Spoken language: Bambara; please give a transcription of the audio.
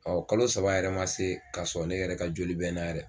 kalo saba yɛrɛ ma se kasɔ ne yɛrɛ ka joli bɛ na yɛrɛ.